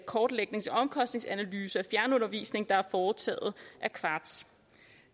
kortlægnings og omkostningsanalyse af fjernundervisning der er foretaget af qvartz